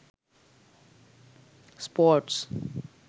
sports